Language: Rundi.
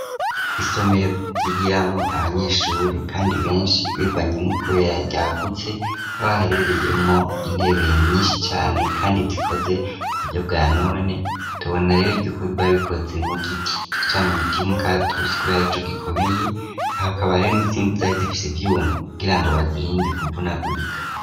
Isomero ryigiramwo abanyeshure kandi benshi bivanye kubera ryagutse aho haherereyemwo intebe nyinshi cane kandi zikoze ku buryo bwa none tubona rero yuko barikoze mu giti cicamine mugiti ca tusi kuko arico gikomeye hakaba rero nizindi zari zifise ivyuma kugirango bazirinde kuvunagurika.